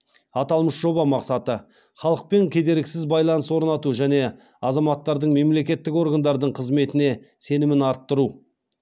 аталмыш жоба мақсаты халықпен кедергісіз байланыс орнату және азаматтардың мемлекеттік органдардың қызметіне сенімін арттыру